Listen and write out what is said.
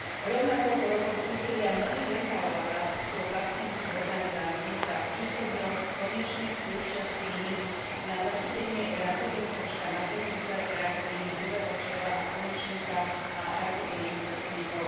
Rovnako po rokoch úsilia mnohých lekárov a zástupcov pacientskych organizácií sa v týchto dňoch konečne spúšťa skríning na zachytenie rakoviny krčka maternice, rakoviny hrubého čreva a konečníka a rakoviny prsníkov.